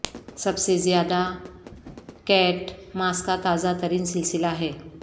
سب سے زیادہ Kate Moss کا تازہ ترین سلسلہ ہے